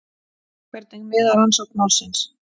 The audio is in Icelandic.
Hvernig miðar rannsókn málsins?